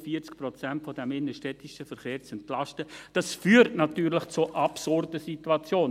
Rund 40 Prozent des innenstädtischen Verkehrs zu entlasten, natürlich zu absurden Situationen.